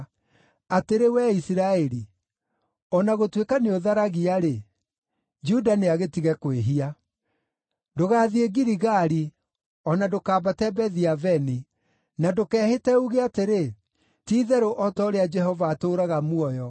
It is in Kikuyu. “Atĩrĩ wee Isiraeli, o na gũtuĩka nĩũtharagia-rĩ, Juda nĩagĩtige kwĩhia. “Ndũgathiĩ Giligali; o na ndũkambate Bethi-Aveni. Na ndũkehĩte uuge atĩrĩ, ‘Ti-itherũ o ta ũrĩa Jehova atũũraga muoyo!’